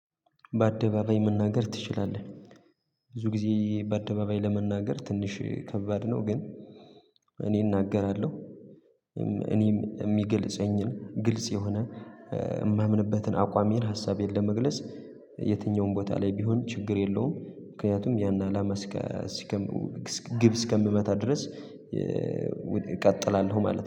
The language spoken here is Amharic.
በአደባባይ መናገር ትችላለህ። ብዙ ጊዜ በአደባባይ ለመናገር ትንሽ ከባድ ነው፣ ግን እኔ እናገራለሁ። እኔም የሚገልጸኝን ግልጽ የሆነ የማምንበትን አቋሜን ሀሳቤን ለመግለጽ የትኛውም ቦታ ላይ ቢሆን ችግር የለውም። ምክንያቱም ያን አላማ ግብ እስከምመታ ድረስ እቀጥላለሁ ማለት ነው።